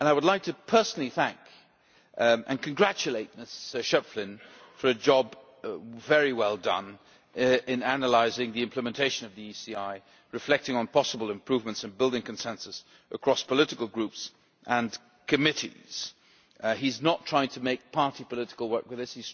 I would like to personally thank and congratulate Mr Schöpflin for a job very well done in analysing the implementation of the ECI, reflecting on possible improvements and building consensus across political groups and committees. He is not trying to make party political work with